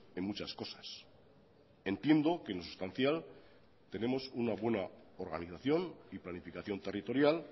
en muchas cosas entiendo que en lo sustancial tenemos una buena organización y planificación territorial